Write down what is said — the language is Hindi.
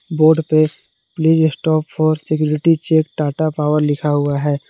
बोर्ड पे please stop for security check Tata Power लिखा हुआ है।